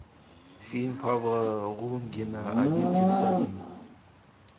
фильм павла лунгина один плюс один